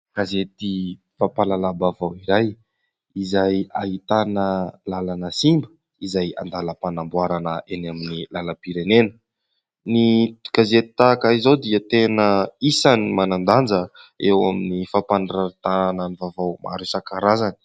Gazety fampahalalam-baovao iray izay ahitana làlana simba izay an-dalam-panamboarana eny amin'ny làlam-pirenena. Ny gazety tahaka izao dia tena isan'ny manan-danja eo amin'ny fampanarahana ny vaovao maro isan-karazany.